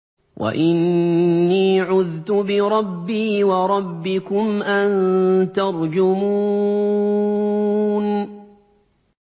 وَإِنِّي عُذْتُ بِرَبِّي وَرَبِّكُمْ أَن تَرْجُمُونِ